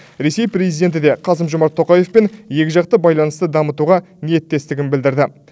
ресей президенті де қасым жомарт тоқаевпен екіжақты байланысты дамытуға ниеттестігін білдірді